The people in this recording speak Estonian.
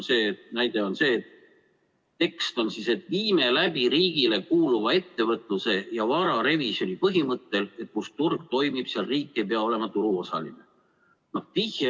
Tekstis on lause, et viime läbi riigile kuuluva ettevõtluse ja vara revisjoni põhimõttel, et kus turg toimib, seal riik ei pea olema turuosaline.